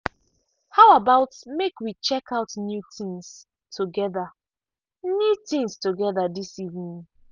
how about make we check out new things together new things together this evening.